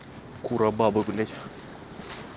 кура баба блять